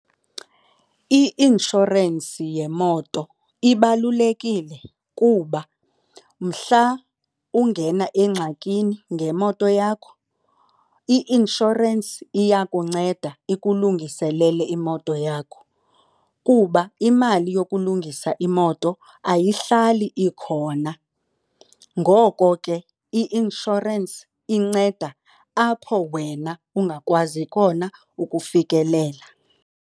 I-inshorensi yemoto ibalulekile kuba mhla ungena engxakini ngemoto yakho, i-inshorensi iyakunceda ikulungiselele imoto yakho. Kuba imali yokulungisa imoto ayihlali ikhona. Ngoko ke i-inshorensi inceda apho wena ungakwazi khona ukufikelela.